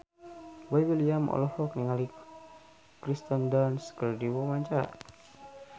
Boy William olohok ningali Kirsten Dunst keur diwawancara